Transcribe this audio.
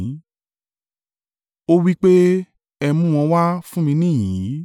Ó wí pé, “Ẹ mú wọn wá fún mi níhìn-ín yìí.”